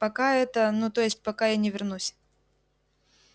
пока это ну то есть пока я не вернусь